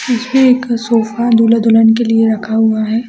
इसमें एक सोफा दुल्हा- दुल्हन के लिए रखा हुआ है।